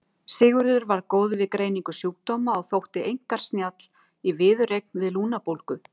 Sigurður var góður við greiningu sjúkdóma og þótti einkar snjall í viðureign við lungnabólgu.